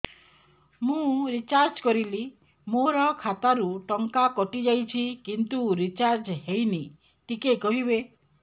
ମୁ ରିଚାର୍ଜ କରିଲି ମୋର ଖାତା ରୁ ଟଙ୍କା କଟି ଯାଇଛି କିନ୍ତୁ ରିଚାର୍ଜ ହେଇନି ଟିକେ କହିବେ